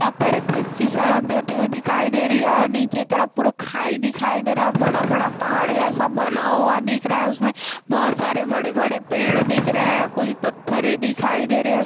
यहाँ पर कच्ची सड़क जाती हुई दिखाई दे रही है और नीचे की तरफ पूरा खाई दिखाई दे रहा है बड़ा बड़ा पहाड़ जैसा बना हुआ दिख रहा है उसमें बहोत सारे बड़े बड़े पेड़ दिख रहे हैं कुछ पत्थर दिखाई दे रहे --